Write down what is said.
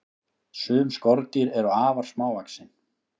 Sum skordýr eru afar smávaxin.